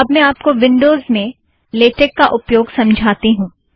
अब मैं आपको विन्ड़ोज़ में लेटेक का उपयोग समझाती हूँ